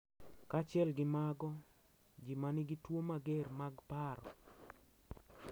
Kaachiel gi mago, ji ma nigi tuwo mager mag paro .